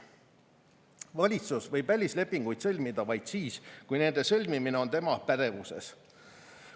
Valitsus võib välislepinguid sõlmida vaid siis, kui nende sõlmimine on tema pädevuses.